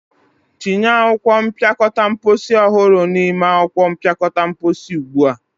tinye akwụkwọ mpịakọta mposi ọhụrụ n'ime akwụkwọ mpịakọta mposi ugbu a!